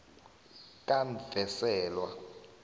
kamvenselwa